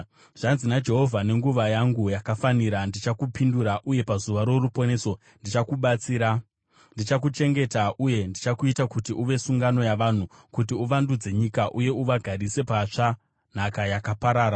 Zvanzi naJehovha: “Munguva yangu yakafanira, ndichakupindura, uye pazuva roruponeso ndichakubatsira; ndichakuchengeta uye ndichakuita kuti uve sungano yavanhu, kuti uvandudze nyika uye uvagarise patsva nhaka yakaparara,